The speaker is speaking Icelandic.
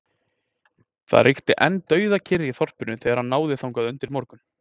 Það ríkti enn dauðakyrrð í þorpinu þegar hann náði þangað undir morgun.